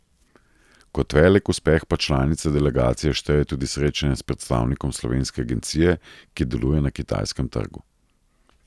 Kot velik uspeh pa članica delegacije šteje tudi srečanje s predstavnikom slovenske agencije, ki deluje na kitajskem trgu.